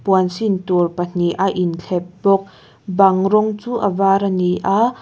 puan sin tur pahnih a inthlep bawk bang rawng chu a var a ni a--